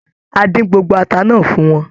A dín gbogbo ata náà fún wọn.